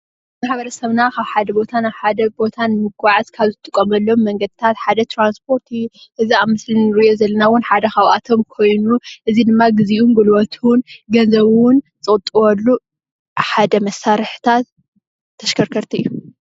ማሕበረሰብና ካብ ሓደ ቦታ ናብ ሓደ ቦታ ን ምጉዓዝ ካብ ዝጥቐመሎም መንገድታት ሓደ ትራንስፖርት እዩ ።እዚ ኣብ ምስሊ ንሪኦ ዘለና እውን ሓደ ካብኣቶም ኮይኑ እዚ ድማ ግዚኡ ጉልበቱን ዝቅጥቡ ሓደ መሳርሕታት ተሽከርከርቲ እዩ።